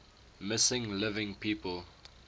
missing living people